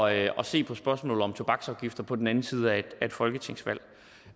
at at se på spørgsmålet om tobaksafgifter på den anden side af et folketingsvalg